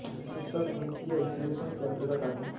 यह सब गणितीय विश्लेषण के अंतर्गत आता है